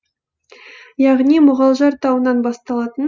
яғни мұғалжар тауынан басталатын